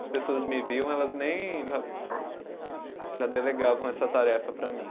As pessoas me viam, elas nem já já delegavam essa tarefa para mim.